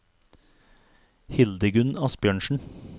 Hildegunn Asbjørnsen